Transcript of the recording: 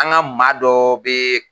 An ka maa dɔ bɛ